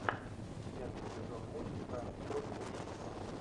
пятый сезон мультика код убийства